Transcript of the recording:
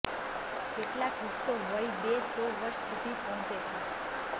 કેટલાક વૃક્ષો વય બે સો વર્ષ સુધી પહોંચે છે